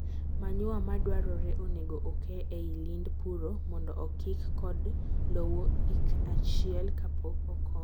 manure madwarore onego okee eiy lind puro mondo okik kod lowo ik achiek kapok okom.